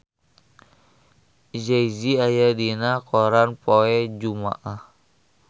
Jay Z aya dina koran poe Jumaah